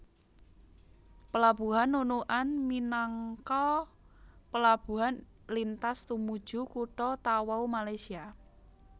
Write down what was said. Pelabuhan Nunukan minangka pelabuhan lintas tumuju kutha Tawau Malaysia